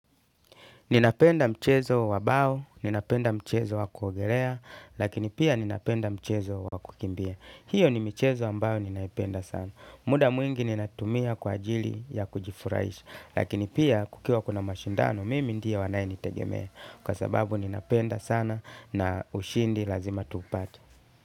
Ninapenda mchezo wa bao, ninapenda mchezo wa kuogerea, lakini pia ninapenda mchezo wa kukimbia. Hiyo ni mchezo ambao ninaipenda sana. Muda mwingi ninatumia kwa ajili ya kujifurahisha, lakini pia kukiwa kuna mashindano, mimi ndiye wanayenitegemea. Kwa sababu ninapenda sana na ushindi lazima tuupate.